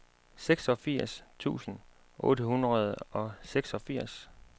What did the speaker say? seksogfirs tusind otte hundrede og seksogfirs